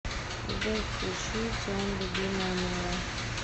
сбер включи тион любимая моя